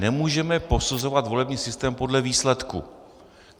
Nemůžeme posuzovat volební systém podle výsledku.